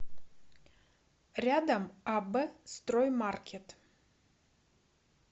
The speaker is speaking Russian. рядом аб строй маркет